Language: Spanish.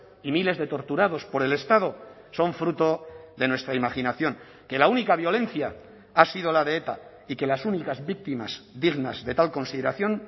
y miles de torturados por el estado son fruto de nuestra imaginación que la única violencia ha sido la de eta y que las únicas víctimas dignas de tal consideración